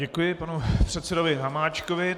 Děkuji panu předsedovi Hamáčkovi.